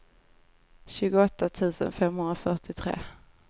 tjugoåtta tusen femhundrafyrtiotre